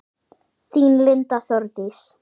Þín Linda Þórdís.